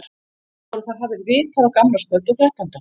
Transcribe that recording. Voru þar hafðir vitar á gamlárskvöld og þrettánda.